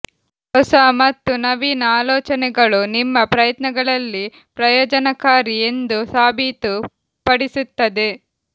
ಹೊಸ ಮತ್ತು ನವೀನ ಆಲೋಚನೆಗಳು ನಿಮ್ಮ ಪ್ರಯತ್ನಗಳಲ್ಲಿ ಪ್ರಯೋಜನಕಾರಿ ಎಂದು ಸಾಬೀತುಪಡಿಸುತ್ತದೆ